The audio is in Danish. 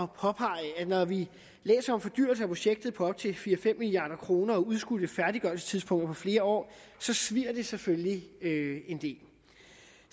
påpege at når vi læser om fordyrelse af projektet på til fire fem milliard kroner og udskudte færdiggørelsestidspunkter til flere år svier det selvfølgelig en del